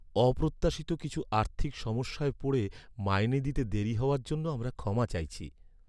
অপ্রত্যাশিত কিছু আর্থিক সমস্যায় পড়ে মাইনে দিতে দেরি হওয়ার জন্য আমরা ক্ষমা চাইছি।